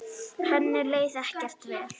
Henni leið ekkert vel.